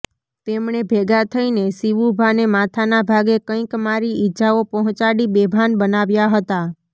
તેમણે ભેગા થઈને શીવુભાને માથાના ભાગે કંઈક મારી ઈજાઓ પહોંચાડી બેભાન બનાવ્યા હતા